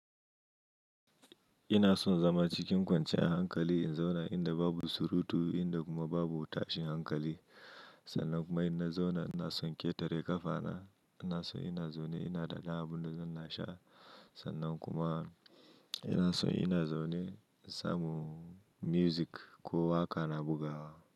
Ina son zama cikin kwanciyar hankali in zauna inda babu surutu, inda kuma babu tashin hankali. Sannan kuma inna zauna ina son ƙetare ƙafa na, ina son ina zaune ina ɗaga abunda zan ina sha. Sannan kuma, ina son ina zaune in samu music, ko wa ka na bugawa.